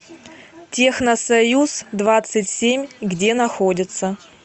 техносоюз двадцать семь где находится